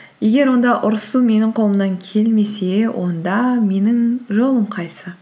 егер онда ұрысу менің қолымнан келмесе онда менің жолым қайсысы